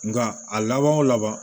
Nka a laban o laban